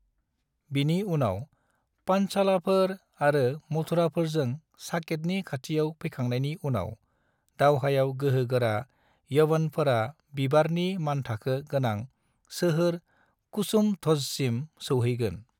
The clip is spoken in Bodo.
बिनि उनाव, पांचालाफोर आरो मथुराफोरजों साकेतनि खाथियाव फैखांनायनि उनाव, दावहायाव गोहो गोरा, यवनफोरा, बिबारनि-मानथाखो गोनां सोहोर कुसुमध्वजसिम सौहैगोन।